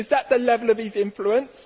Is that the level of his influence?